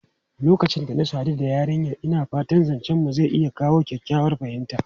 Lokacin da na sadu da yarinyar, ina fata zancenmu zai iya kawo kyakkyawar fahimta.